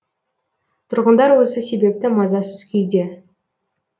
тұрғындар осы себепті мазасыз күйде